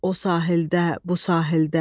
O sahildə, bu sahildə.